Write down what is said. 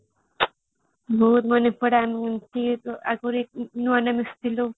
ବହୁତ ମନେ ପଡେ ଆଗରୁ ନୁଆ ମିଶିଥିଲୁ